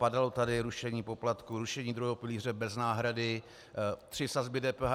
Padalo tady rušení poplatků, rušení druhého pilíře bez náhrady, tři sazby DPH.